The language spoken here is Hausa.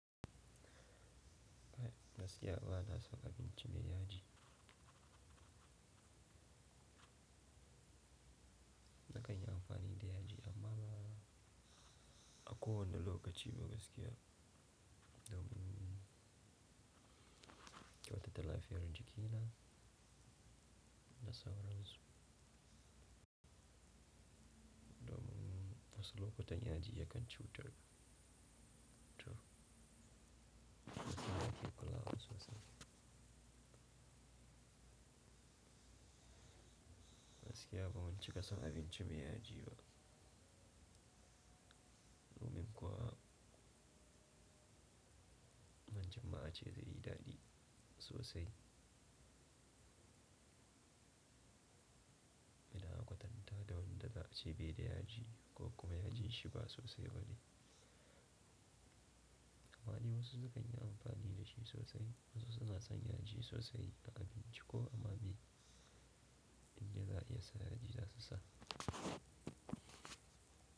Gaskiya ba na son abinci mai yaji. Na kan yi amfani da yaji amma a kowanne wani lokaci ba gaskiya domin kyautata lafiyar jikina da sauransu. Domin wasu lokutan yaji yakan cutar da cutar da tsara kuka sosai. Gaskiya ba mun cika son abinci mai yaji ba, domin kuwa wancan ma ace zai yi daɗi sosai idan aka kwatanta da wanda za a ce bai da yaji ko kuma yajin shi ba sosai bane. Amma dai wasu sukan yi amfani da shi sosai wasu suna son yaji sosai a abinci ko amma bai inda za'a iya sa yaji za su sa.